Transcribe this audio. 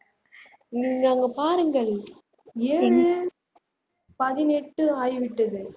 நீங்க அங்க பாருங்கள் ஏழு பதினெட்டு ஆகிவிட்டது